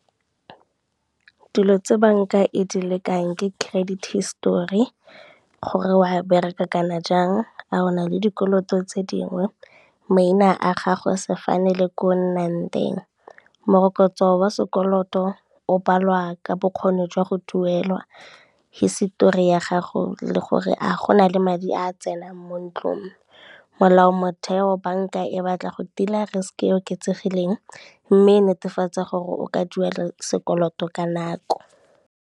Dilo tse banka e di lekang ke credit hisetori, gore o a bereka kana jang, a ona le dikoloto tse dingwe, maina a gago, sefane le ko o nnang teng. Morokotso wa sekoloto o balwa ka bokgoni jwa go duelwa, hisetori ya gago le gore a gona le madi a tsenang mo ntlong, molao motheo banka e batla go tila risk e oketsegileng mme e netefatsa gore o ka duela sekoloto ka nako.